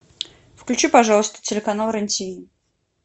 включи пожалуйста телеканал рен тв